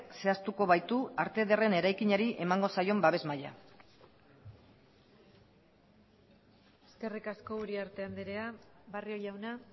zehaztuko baitu arte ederren eraikinari emango zaion babes maila eskerrik asko uriarte andrea barrio jauna